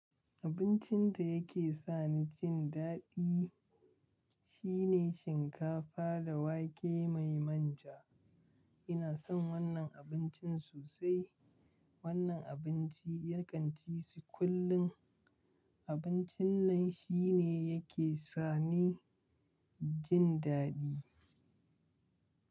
Abincin da yake sa ni jin daɗi shine shinkafa da wake mai manja. Ina son wannan abincin sosai. Wannan abinci na kan ci su kullum. Abincin nan shi ne ya ke sa ni jin daɗi.